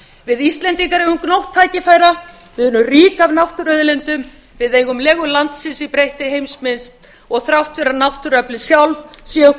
við íslendingar eigum gnótt tækifæra við erum rík af náttúruauðlindum við eigum legu landsins í breyttri heimsmynd og þrátt fyrir að náttúruöflin sjálf séu okkur